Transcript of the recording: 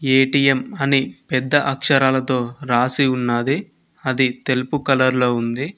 ATM అని పెద్ద అక్షరాలతో రాసి ఉన్నాది అది తెలుపు కలర్ లో ఉంది.